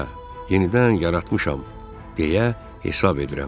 Hə, yenidən yaratmışam deyə hesab edirəm.